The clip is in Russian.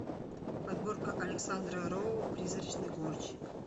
подборка александра роу призрачный гонщик